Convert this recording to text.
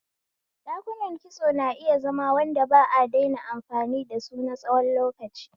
Dakunan kitso na iya zama wanda ba a daina amfani da su na tsawon lokaci.